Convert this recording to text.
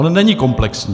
On není komplexní.